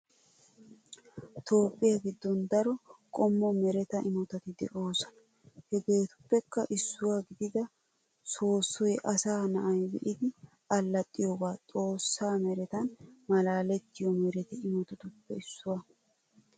Toophphiya giddon daro qommo mereta imotati de'oosona. Hegeetuppekka issuwa gidida soossoy asaa na"ay be"idi allaxxiyoogaa xoossaa meretan malaalettiyo mereta imotatuppe issuwaa.